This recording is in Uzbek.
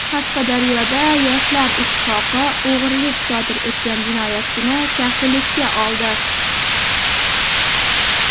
Qashqadaryoda Yoshlar ittifoqi o‘g‘rilik sodir etgan jinoyatchini kafillikka oldi.